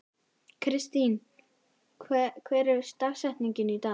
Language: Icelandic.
Kristine, hver er dagsetningin í dag?